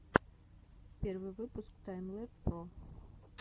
первый выпуск таймлэб про